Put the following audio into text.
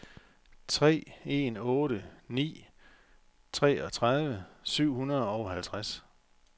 tre en otte ni treogtredive syv hundrede og halvtreds